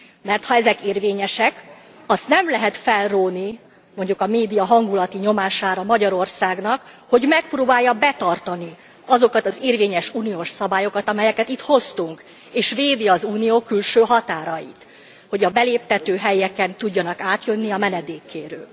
Mert ha ezek érvényesek, azt nem lehet felróni, mondjuk a média hangulati nyomására, Magyarországnak, hogy megpróbálja betartani azokat az érvényes, uniós szabályokat, amelyeket itt hoztunk, és védi az Unió külső határait, hogy a beléptető helyeken tudjanak átjönni a menedékkérők.